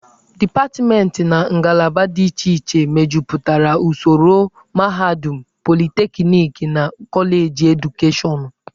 Dipatmentị na ngalaba dị iche iche mejupụtara usoro mahadum, politekniki na koleji edukashọnụ.